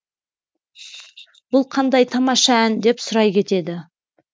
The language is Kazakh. бұл қандай тамаша ән деп сұрай кетеді